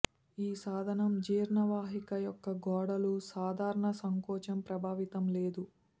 ఈ సాధనం జీర్ణ వాహిక యొక్క గోడలు సాధారణ సంకోచం ప్రభావితం లేదు